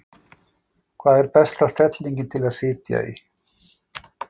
Hvað er besta stellingin til að sitja í?